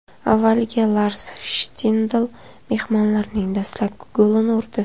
Avvaliga Lars Shtindl mehmonlarning dastlabki golini urdi.